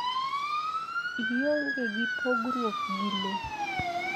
Ionige gi pogruok gi le